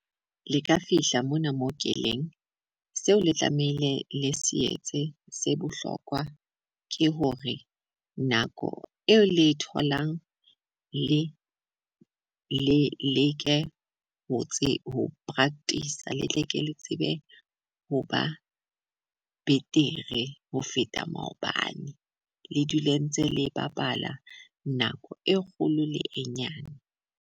Le ka fihla mona mo keleng seo le tlamehile le se etse se bohlokwa ke hore nako eo le e tholang le le leke ho tse ho practice, le tle le ke le tsebe hoba betere ho feta maobane, le dule ntse le bapala nako e kgolo le e nyane.